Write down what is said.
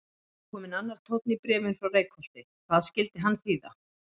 Það er kominn annar tónn í bréfin frá Reykholti, hvað skyldi hann þýða?